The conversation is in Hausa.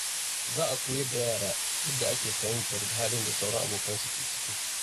Za a koyar da yara yadda ake fahimtar halin da sauran abokansu ke ciki.